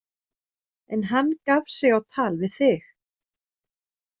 En hann gaf sig á tal við þig.